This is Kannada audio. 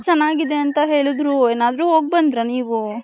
ಚೆನ್ನಾಗಿದೆ ಅಂತ ಹೇಳಿದ್ರು ಏನಾದ್ರು ಹೋಗ್ಬಂದ್ರೆ ನೀವು .